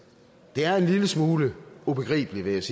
det er en lille smule ubegribeligt